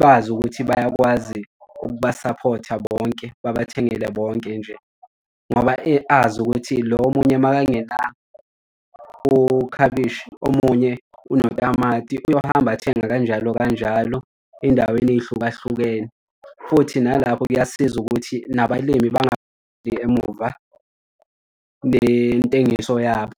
bazi ukuthi bayakwazi ukubasaphotha bonke babathengele bonke nje ngoba azi ukuthi lo omunye uma kangena ukhabishi, omunye unotamati uyohamba athenga kanjalo kanjalo ey'ndaweni ey'hlukahlukene. Futhi nalapho kuyasiza ukuthi nabalimi bengagxili emuva ngentengiso yabo.